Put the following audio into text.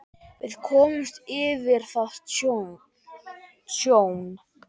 Við komumst yfir það tjón.